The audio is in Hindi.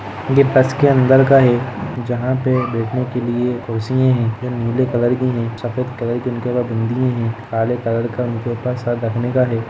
ये बस के अंदर का है जहां पे बैठने के लिए कुर्सीये है नीले कलर की है सफ़ेद कलर की इनके पास बिंदीए है काले कलर का उनके ऊपर सर रखने का है।